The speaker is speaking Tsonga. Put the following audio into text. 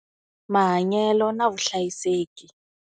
Mahanyelo na vuhlayiseki.